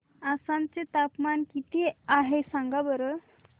आसाम चे तापमान किती आहे सांगा बरं